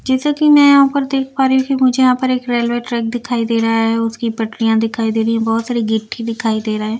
जैसा कि मैं यहां पर देख पा रही हूं कि मुझे यहां पर एक रेलवे ट्रैक दिखाई दे रहा है उसकी पटरियां दिखाई दे रही है बहुत सारी गिट्टी दिखाई दे रहा हैं।